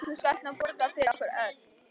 Nú skalt þú borga fyrir okkur öll.